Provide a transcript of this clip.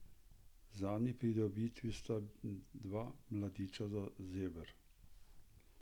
Zadnji pridobitvi sta dva mladiča zeber.